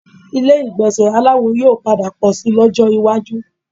Ilé ìgbọ̀nsẹ̀ aláwo yóò padà pọ̀ síi lọ́jọ́ iwájú